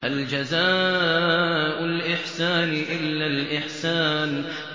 هَلْ جَزَاءُ الْإِحْسَانِ إِلَّا الْإِحْسَانُ